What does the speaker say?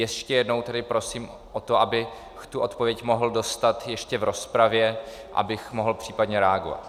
Ještě jednou tedy prosím o to, abych tu odpověď mohl dostat ještě v rozpravě, abych mohl případně reagovat.